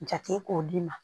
Jate k'o d'i ma